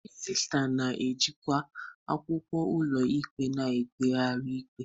Registra na-ejikwa akwụkwọ ụlọikpe na mkpegharị ikpe.